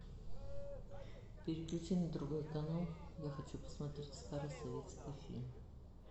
переключи на другой канал я хочу посмотреть старый советский фильм